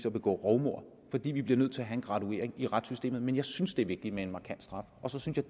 at begå rovmord fordi vi bliver nødt til at have en graduering i retssystemet men jeg synes det er vigtigt med en markant straf